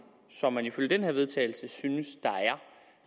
som man ifølge det her vedtagelse synes der er